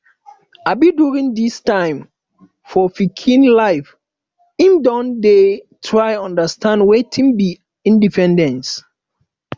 um during um this time for pikin life im don dey try understand wetin be independence